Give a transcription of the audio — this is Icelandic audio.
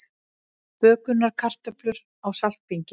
Bökunarkartöflur á saltbingi